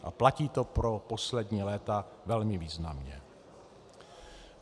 A platí to pro poslední léta velmi významně.